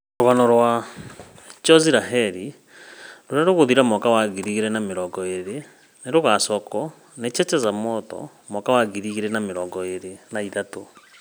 Rũgano, 'Chozi la Heri ' ĩrĩa ĩgũthira mwaka wa ngiri igĩrĩ na mĩrongo ĩrĩ nĩ ĩgaacokio nĩ 'Cheche za Moto ' mwaka wa ngiri igĩrĩ na mĩrongo ĩrĩ na ithatũ.